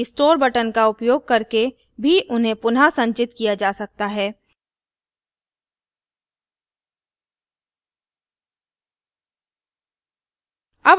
restore button का उपयोग करके भी उन्हें पुनः संचित किया जा सकता है